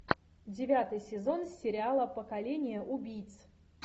девятый сезон сериала поколение убийц